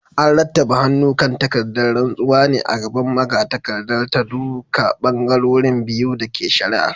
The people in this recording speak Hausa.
An rattaba hannu kan takardar rantsuwar ne a gaban magatakardar ta duka bangarorin biyu da ke shari’ar.